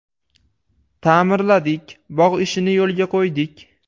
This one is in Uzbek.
Ta’mirladik, bog‘ ishini yo‘lga qo‘ydik.